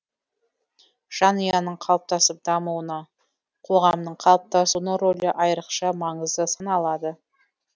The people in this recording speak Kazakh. жанұяның қалыптасып дамуына қоғамның қалыптасуының рөлі айрықша маңызды саналады